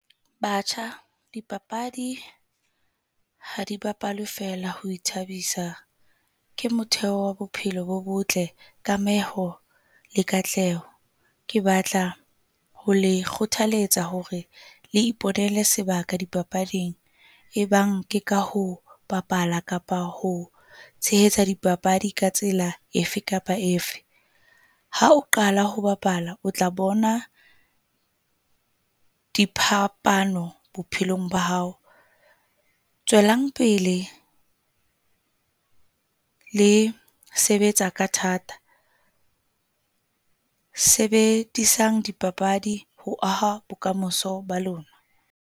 Batjha dipapadi ha di bapalwe feela ho ithabisa, ke motheo wa bophelo bo botle, kameho le katleho. Ke batla ho le kgothaletsa hore le iponele sebaka dipapading. E bang ke ka ho bapala kapa ho tshehetsa dipapadi ka tsela efe kapa efe. Ha o qala ho bapala, o tla bona diphapano bophelong ba hao. Tswelang pele le sebetsa ka thata, sebedisang dipapadi ho aha bokamoso ba lona.